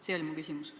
See oli mu küsimus.